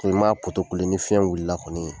Ko i ma ni fiɲɛ wulila kɔni